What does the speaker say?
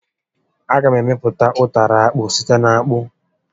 A ga m emepụta ụtara akpụ site n'akpụ